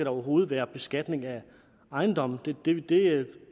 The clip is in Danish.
overhovedet være beskatning af ejendomme det